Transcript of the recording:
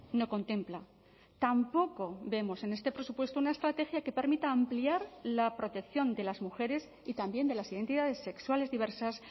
no contempla tampoco vemos en este presupuesto una estrategia que permita ampliar la protección de las mujeres y también de las identidades sexuales diversas